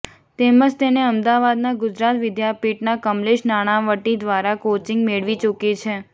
તેમજ તેણે અમદાવાદના ગુજરાત વિદ્યાપીઠના કમલેશ નાણાંવટી દ્વારા કોચીંગ મેળવી ચુકી છે